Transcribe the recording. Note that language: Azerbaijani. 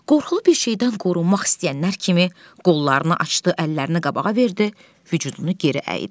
Qorxulu bir şeydən qorunmaq istəyənlər kimi qollarını açdı, əllərini qabağa verdi, vücudunu geri əydi.